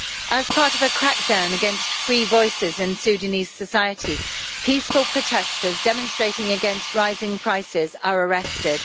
As part of a crackdown against free voices in Sudanese society, peaceful protesters demonstrating against rising prices are arrested.